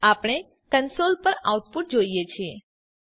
આપણે કન્સોલ પર આઉટપુટ જોઈએ છીએ